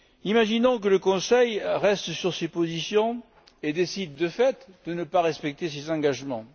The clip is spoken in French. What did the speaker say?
Imaginons que le Conseil reste sur ses positions et décide, de fait, de ne pas respecter ses engagements.